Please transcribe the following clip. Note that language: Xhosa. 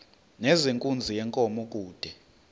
nezenkunzi yenkomo kude